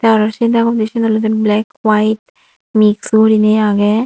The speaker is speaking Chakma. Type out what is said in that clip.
tey aro sei dagodi syen olodey black white mixed guriney agey.